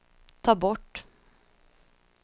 ta bort